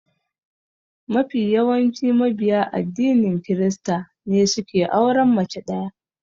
Mafi yawancin mabiya addinin krista ne suke auren mace ɗaya.